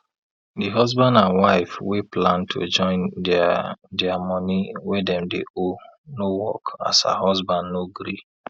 di husband and wife wey plan to join dia dia money wey dem dey owe no work as her husband no gree